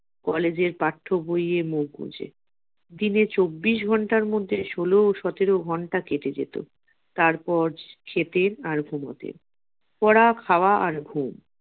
college এর পাঠ্য বইয়ে মুখ বুঝে দিনে চব্বিশ ঘণ্টার মধ্যে ষোলো সতেরো ঘণ্টা কেটে যেত তারপর খেতেন আর ঘুমাতেন পড়া খাওয়া আর ঘুম।